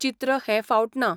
चित्र हे फावट ना.